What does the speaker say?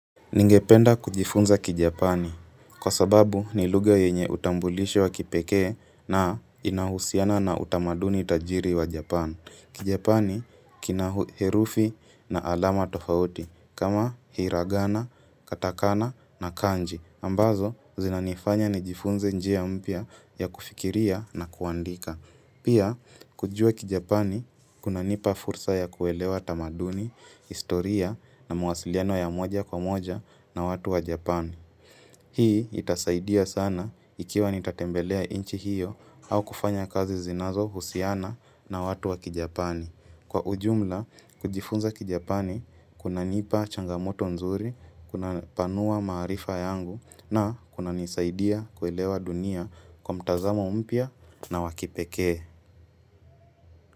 Ningependa kujifunza kijapani, kwa sababu ni lugha yenye utambulisho wa kipekee na inahusiana na utamaduni tajiri wa japani. Kijapani kina herufi na alama tofauti, kama hiragana, katakana na kanji. Ambazo, zinanifanya nijifunze njia mpya ya kufikiria na kuandika. Pia, kujua kijapani, kunanipa fursa ya kuelewa tamaduni, historia na mawasiliano ya moja kwa moja na watu wa Japani. Hii itasaidia sana ikiwa nitatembelea nchi hiyo au kufanya kazi zinazohusiana na watu wa kijapani. Kwa ujumla, kujifunza kijapani, kunanipa changamoto nzuri, kunapanua maarifa yangu na kunanisaidia kuelewa dunia kwa mtazamo mpya na wa kipekee.